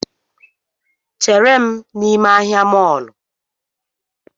Chere m n’ime ahịa mọlụ